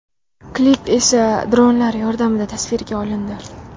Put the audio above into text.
Klip esa dronlar yordamida tasvirga olindi.